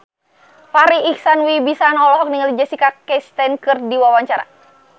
Farri Icksan Wibisana olohok ningali Jessica Chastain keur diwawancara